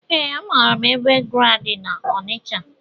Ee, amaara ebe GRA dị na-Onicha.